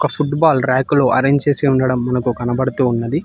Football ర్యాకులో arrange చేసి ఉండడం మనకు కనబడుతూ ఉన్నది.